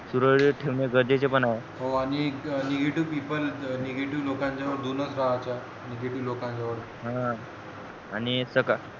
सुरडीत ठेवणे गरजेचे पण आहे हो आणि negative people negetiive लोकांजवड दोनच negative लोकांजवड हा